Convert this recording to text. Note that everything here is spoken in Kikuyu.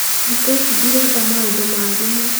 thĩkũ ici ndirenda maũndũ ma thimũ